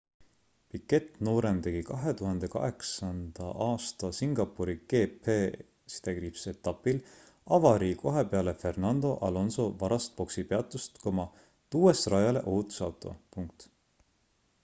piquet noorem tegi 2008 aasta singapuri gp-etapil avarii kohe peale fernando alonso varast boksipeatust tuues rajale ohutusauto